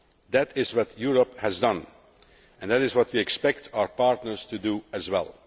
That is what Europe has done, and that is what we expect our partners to do as well.